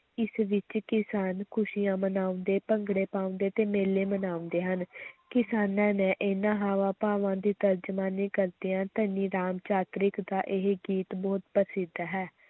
ਇਸ ਵਿੱਚ ਕਿਸਾਨ ਖ਼ੁਸ਼ੀਆਂ ਮਨਾਉਂਦੇ, ਭੰਗੜੇ ਪਾਉਂਦੇ ਤੇ ਮੇਲੇ ਮਨਾਉਂਦੇ ਹਨ ਕਿਸਾਨਾਂ ਨੇ ਇਨ੍ਹਾਂ ਹਾਵਾਂ-ਭਾਵਾਂ ਦੀ ਤਰਜਮਾਨੀ ਕਰਦਿਆਂ ਧਨੀ ਰਾਮ ਚਾਤ੍ਰਿਕ ਦਾ ਇਹ ਗੀਤ ਬਹੁਤ ਪ੍ਰਸਿੱਧ ਹੈ।